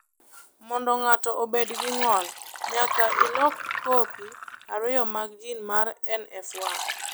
Mondo ng’ato obed gi ng’ol, nyaka ilok kopi ariyo mag jin mar NF1.